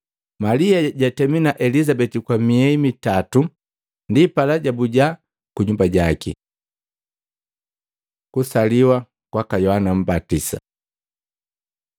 Malia jatemi na Elizabeti kwa miehi mitato, ndipala jabuja kunyumba jaki. Kusaliwa kwaka Yohana Mbatisa